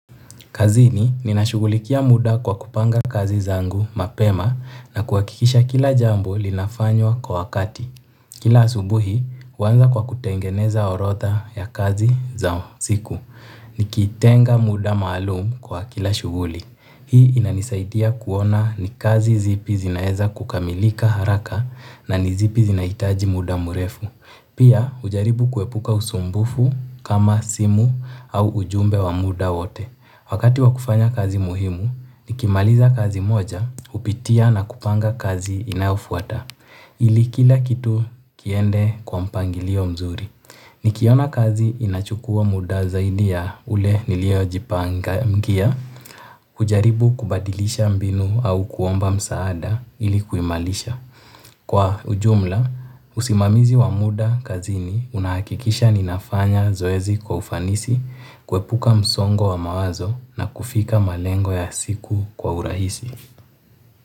Kazini ninashughulikia muda kwa kupanga kazi zangu mapema na kuhakikisha kila jambo linafanywa kwa wakati. Kila asubuhi, huanza kwa kutengeneza orodha ya kazi za siku. Nikitenga muda maalumu kwa kila shughuli. Hii inanisaidia kuona ni kazi zipi zinaweza kukamilika haraka na ni zipi zinahitaji muda mrefu. Pia hujaribu kuepuka usumbufu kama simu au ujumbe wa muda wote. Wakati wa kufanya kazi muhimu, nikimaliza kazi moja, hupitia na kupanga kazi inayofuata ili kila kitu kiende kwa mpangilio mzuri. Nikiona kazi inachukua muda zaidi ya ule nilio jipangia, hujaribu kubadilisha mbinu au kuomba msaada ili kuimaliza. Kwa ujumla, usimamizi wa muda kazini unahakikisha ninafanya zoezi kwa ufanisi, kuepuka msongo wa mawazo na kufika malengo ya siku kwa urahisi.